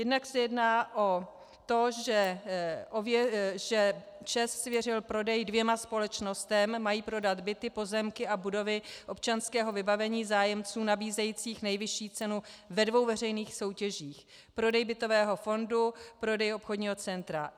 Jednak se jedná o to, že ČEZ svěřil prodej dvěma společnostem, mají prodat byty, pozemky a budovy občanského vybavení zájemcům nabízejícím nejvyšší cenu ve dvou veřejných soutěžích, prodej bytového fondu, prodej obchodního centra.